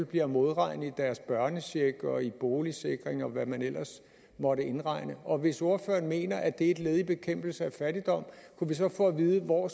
bliver modregnet i deres børnecheck boligsikring og hvad man ellers måtte indregne og hvis ordføreren mener at det er et led i bekæmpelse af fattigdom kunne vi så få at vide hvor